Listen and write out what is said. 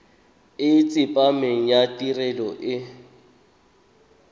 e tsepameng ya tirelo e